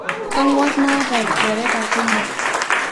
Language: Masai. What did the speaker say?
Kang'war naata lnchoreta kumo